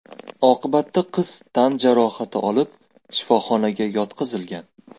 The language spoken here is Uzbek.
Oqibatda qiz tan jarohati olib shifoxonaga yotqizilgan.